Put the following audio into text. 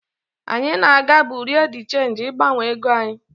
Anyị na-aga bureau de change ịgbanwe ego anyị.